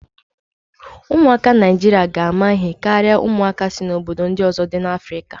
Ụmụaka Naijiria ga ama ihe karịa ụmụaka si obodo ndị ọzọ dị n'Afrika.